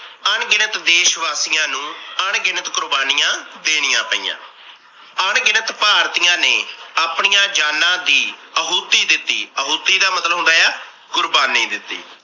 ਅਣਗਿਣਤ ਦੇਸ ਵਾਸੀਆਂ ਨੂੰ ਅਣਗਿਣਤ ਕੁਰਬਾਨੀਆਂ ਦੇਣੀਆਂ ਪਈਆਂ। ਅਣਗਿਣਤ ਭਾਰਤੀਆਂ ਨੇ ਆਪਣੀਆਂ ਜਾਨਾ ਦੀ ਅਹੁਤੀ ਦਿੱਤੀ ਅਹੁਤੀ ਦਾ ਮਤਲਬ ਹੁੰਦਾ ਆ ਕੁਰਬਾਨੀ ਦਿੱਤੀ।